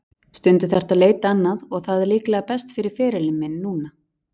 Stundum þarftu að leita annað og það er líklega best fyrir ferilinn minn núna.